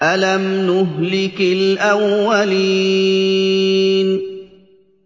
أَلَمْ نُهْلِكِ الْأَوَّلِينَ